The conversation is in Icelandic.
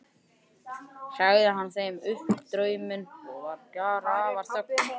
Sagði hann þeim nú upp drauminn og var grafarþögn á.